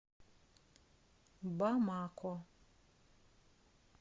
бамако